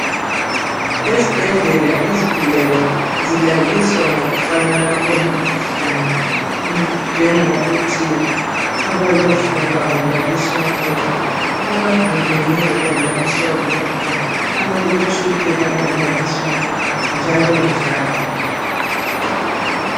Esbhedlela izigulane zilaliswa ngokufanana kwemikhuhlane njengokuthi abalofuba balaliswa bodwa, abavimbeneyo balaliswa bodwa, abaletshukela balaliswa bodwa njalo njalo